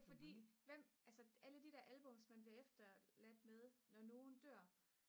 fordi hvem altså alle de der albums man bliver efterladt med når nogen dør